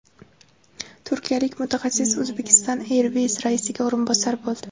Turkiyalik mutaxassis Uzbekistan Airways raisiga o‘rinbosar bo‘ldi.